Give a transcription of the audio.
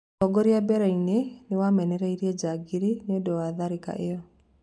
ũtongoria mbereinĩ nĩ wamenereirie "njangiri" nĩũndũ wa tharĩka ĩyo.